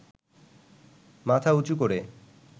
মাথা উঁচু করে